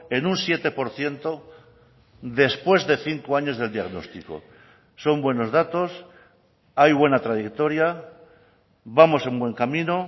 en un siete por ciento después de cinco años del diagnóstico son buenos datos hay buena trayectoria vamos en buen camino